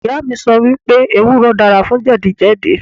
Ìyá mi sọ wípé ewúro dára fún jẹ̀díjẹ̀dí.